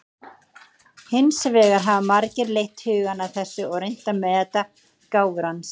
Hins vegar hafa margir leitt hugann að þessu og reynt að meta gáfur hans.